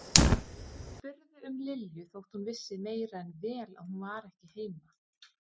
Og spurði um Lilju þótt hún vissi meira en vel að hún var ekki heima.